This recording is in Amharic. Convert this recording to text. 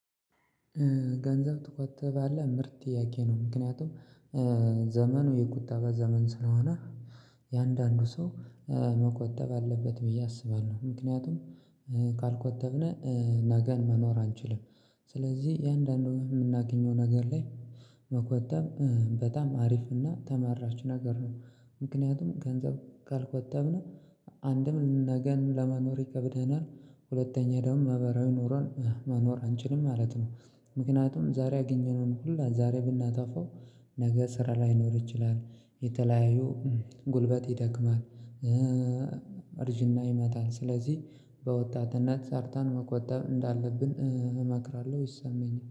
ገንዘብ ትቆጥባለህ? ምርጥ ጥያቄ ነው ምክንያቱም ዘመኑ የቁጣ ዘመን ስለሆነ እያንዳንዱ ሰው መቆጠብ አለበት ብዬ አስባለሁ። ምክንያቱም ካልቆጠብነ ነገን መኖር አንችልም። ስለዚህ እያንዳንዷ ወይ የምናገኘው ነገር ላይ መቆጠብ በጣም አሪፍና ተመራች ነገር ነው። ምክንያቱም ገንዘብ ካልቆጠብነው አንድም ነገን ለመኖር ይከብደናል ሁለተኛ ደግሞ መበራዊ ኑሮን መኖር አንችልም ማለት ነው። ምክንያቱም ዛሬ ያገኘነውን ሁላ ዛሬ ብናጠፋው ነገ ስራ ላይኖር ይችላል። የተለያዩ ጉልበት ይደክማል። እርጅና ይመታል ስለዚህ በወጣትነት ሰርተን መቆጠብ እንዳለብን እመክራለሁ ይሰማኛል